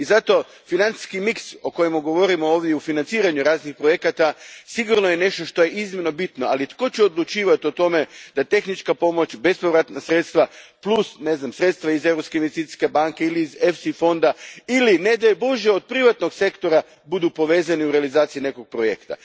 I zato, financijski miks o kojemu govorimo ovdje u financiranju raznih projekata sigurno je nešto što je iznimno bitno, ali tko će odlučivati o tome da tehnička pomoć, bespovratna sredstva plus sredstva iz Europske investicijske banke ili iz EFSI fonda ili, ne daj Bože, od privatnog sektora budu povezani u realizaciji nekog projekta.